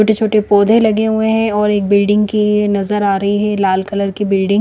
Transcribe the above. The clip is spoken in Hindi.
छोटे-छोटे पोधे लगे हुए है और एक बिल्डिंग की नज़र आ रही है लाल कलर की बिल्डिंग --